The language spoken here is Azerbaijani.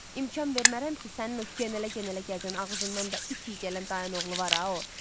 İmkan vermərəm ki, sənin o genələ-genələ gəzən ağzından da it iyləyən dayın oğlu var ha o.